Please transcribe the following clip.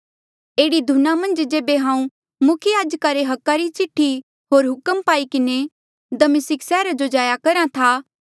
एह्ड़ी धुना मन्झ जेबे हांऊँ मुख्य याजका ले अधिकार री चिठ्ठी होर हुक्म पाई किन्हें दमिस्का सैहरा जो जाया करहा था